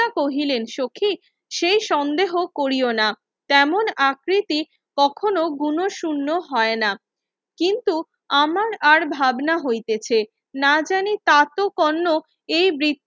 কহিলেন সখি সেই সন্দেহ কোরীয় না তেমন আকৃতি কখনো গুণ শুন্য হয়না কিন্তু আমার আর ভাবনা হইতেছে নাজানি তাতো কর্ণক এই বৃতা